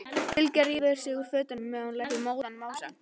Bylgja rífur sig úr fötunum meðan hún lætur móðan mása.